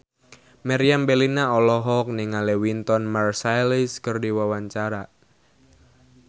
Meriam Bellina olohok ningali Wynton Marsalis keur diwawancara